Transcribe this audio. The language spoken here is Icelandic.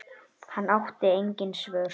Hann átti engin svör.